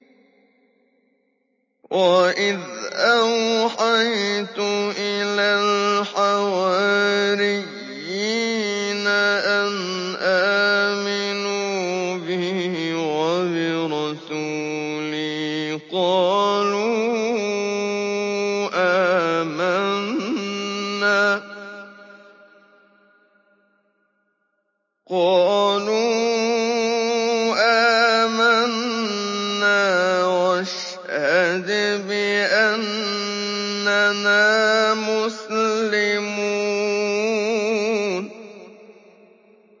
وَإِذْ أَوْحَيْتُ إِلَى الْحَوَارِيِّينَ أَنْ آمِنُوا بِي وَبِرَسُولِي قَالُوا آمَنَّا وَاشْهَدْ بِأَنَّنَا مُسْلِمُونَ